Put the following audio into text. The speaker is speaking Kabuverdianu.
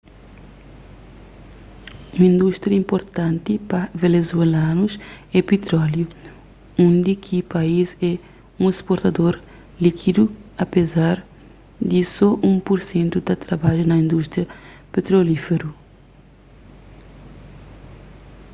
un indústria inpurtanti pa venezuelanus é pitróliu undi ki país é un sportador líkidu apezar di so un pur sentu ta trabadja na indústria petrolíferu